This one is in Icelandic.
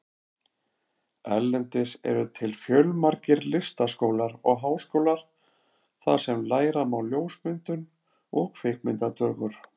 Erlendis eru til fjölmargir listaskólar og háskólar þar sem læra má ljósmyndun og kvikmyndatökur.